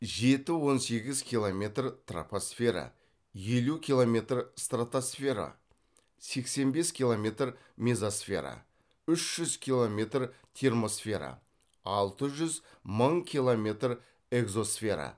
жеті он сегіз километр тропосфера елу километр стратосфера сексен бес километр мезосфера үш жүз километр термосфера алты жүз мың километр экзосфера